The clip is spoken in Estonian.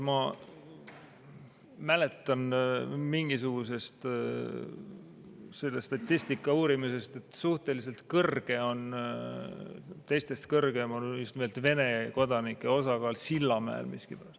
Ma mäletan mingisugusest selle statistika uurimusest, et suhteliselt kõrge, teistest kõrgem on Vene kodanike osakaal miskipärast Sillamäel.